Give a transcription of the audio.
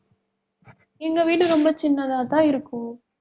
எங்க வீடு ரொம்ப சின்னதாதான் இருக்கும்.